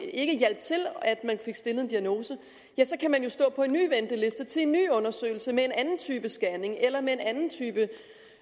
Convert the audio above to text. ikke hjalp til at man fik stillet en diagnose kan man jo stå på en ny venteliste til en ny undersøgelse med en anden type scanning eller med en anden type